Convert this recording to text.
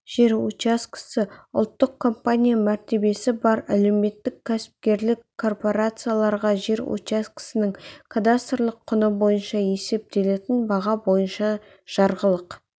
жер учаскесі ұлттық компания мәртебесі бар әлеуметтік-кәсіпкерлік корпорацияларға жер учаскесінің кадастрлық құны бойынша есептелетін баға бойынша жарғылық